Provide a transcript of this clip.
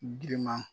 Girinman